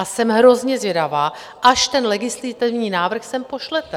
A jsem hrozně zvědavá, až ten legislativní návrh sem pošlete.